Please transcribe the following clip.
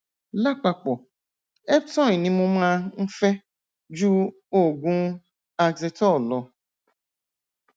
lápapọ eptoin ni mo máa ń fẹ ju oògùn oxetol lọ